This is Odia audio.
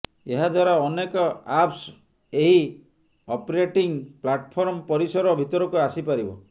ଏହା ଦ୍ୱାରା ଅନେକ ଆପ୍ସ ଏହି ଅପରେଟିଂ ପ୍ଲାଟଫର୍ମ ପରିସର ଭିତରକୁ ଆସିପାରିବ